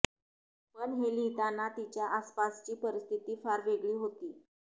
पण हे लिहिताना तिच्या आसपासची परिस्थिती फार वेगळी होती